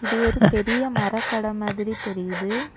இது ஒரு பெரிய மரக்கட மாதிரி தெரியுது.